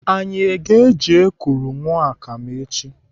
Anyị aga eji ekuru aṅụ akam echi?